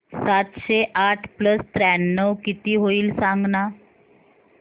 सातशे आठ प्लस त्र्याण्णव किती होईल सांगना